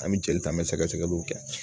An bɛ jeli ta an bɛ sɛgɛsɛgɛliw kɛ